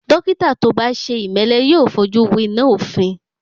Dọ́kítà tó bá ṣe ìmẹ́lẹ́ yóò fojú winá òfin.